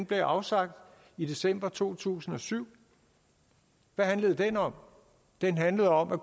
blev afsagt i december to tusind og syv hvad handlede den om den handlede om at